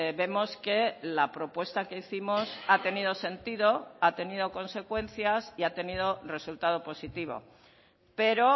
vemos que la propuesta que hicimos ha tenido sentido ha tenido consecuencias y ha tenido resultado positivo pero